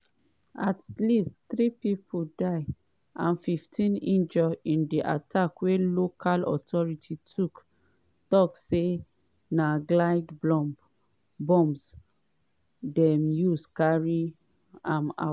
at least three pipo die and 15 injure in di attack wey local authorities tok say na glide bombs dem use carry am out.